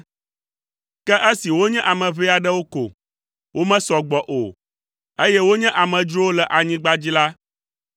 Ke esi wonye ame ʋɛ aɖewo ko, womesɔ gbɔ o, eye wonye amedzrowo le anyigba dzi la,